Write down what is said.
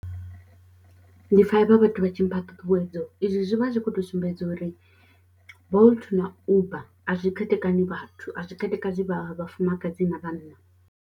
Ndi pfha vha vhathu vha tshi mpha ṱhuṱhuwedzo izwi zwi vha zwi khou tou sumbedza uri Bolt na Uber a zwi khethekana vhathu a zwi khethekanyi vha vhafumakadzi na vhanna.